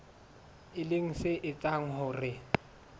e leng se etsang hore